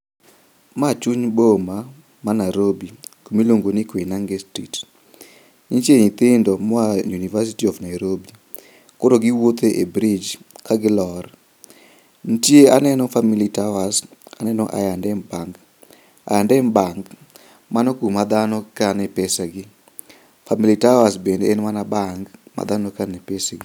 Ma chuny boma ma narobi kumiluongo ni koinange street. Nitie nyithindo moa e university of nairobi koro giwuotho e brij kagilor. Aneno family towers, aneno I and M bank, Iand M bank mano kuma dhano kane pesagi, family towers bende en mana bank ma dhano kane pesegi.